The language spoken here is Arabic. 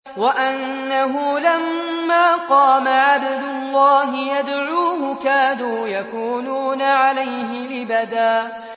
وَأَنَّهُ لَمَّا قَامَ عَبْدُ اللَّهِ يَدْعُوهُ كَادُوا يَكُونُونَ عَلَيْهِ لِبَدًا